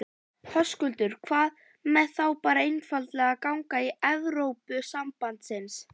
Höskuldur: Hvað með þá bara einfaldlega að ganga í Evrópusambandsins?